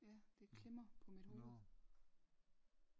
Ja det klemmer på mit hovede